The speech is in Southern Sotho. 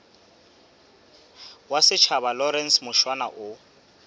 wa setjhaba lawrence mushwana o